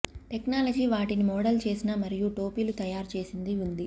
technology వాటిని model చేసిన మరియు టోపీలు తయారు చేసింది ఉంది